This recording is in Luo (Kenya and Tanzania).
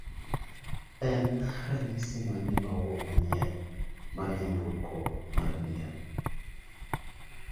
En ranyisi mane ma owuok manyien mar nyamburko mar B.M